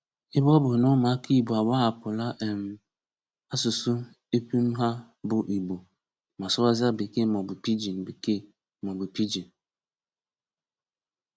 Ebe ọ bụ na ụmụaka Igbo agbahapụla um asụsụ epum ha bụ Igbo ma sụwazịa Bekee maọbụ Pijin Bekee maọbụ Pijin (Pidgin)